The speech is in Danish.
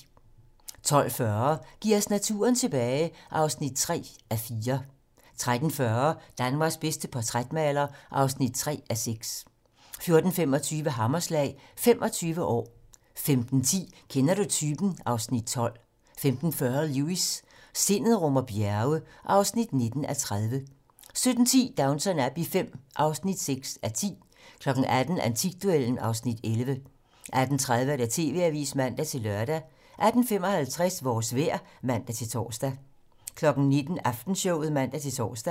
12:40: Giv os naturen tilbage (3:4) 13:40: Danmarks bedste portrætmaler (3:6) 14:25: Hammerslag - 25 år 15:10: Kender du typen? (Afs. 12) 15:40: Lewis: Sindet rummer bjerge (19:30) 17:10: Downton Abbey V (6:10) 18:00: Antikduellen (Afs. 11) 18:30: TV-Avisen (man-lør) 18:55: Vores vejr (man-tor) 19:00: Aftenshowet (man-tor)